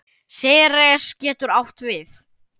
Ceres getur átt við